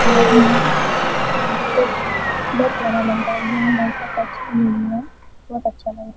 Colour में है बहुत सही बहुत प्यारा लग रहा है यहाँ लड़का टच किये हुए है बहुत अच्छा लग रहा है।